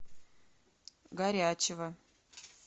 горячева